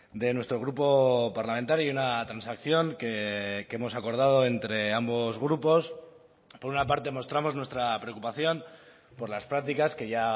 de nuestro grupo parlamentario y una transacción que hemos acordado entre ambos grupos por una parte mostramos nuestra preocupación por las prácticas que ya